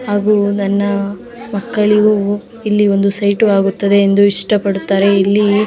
ಹಾಗು ನನ್ನ ಮಕ್ಕಳಿಗೂ ಇಲ್ಲಿ ಒಂದು ಸೈಟು ಆಗುತ್ತದೆ ಎಂದು ಇಷ್ಟ ಪಡುತ್ತಾರೆ ಇಲ್ಲಿ --